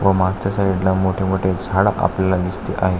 व मागच्या साइडला मोठे मोठे झाड आपल्याला दिसते आहे.